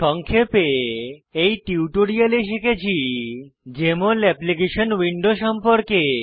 সংক্ষেপে এই টিউটোরিয়ালে শিখেছি জেএমএল অ্যাপ্লিকেশন উইন্ডো সম্পর্কে